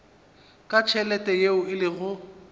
ka tšhelete yeo e lego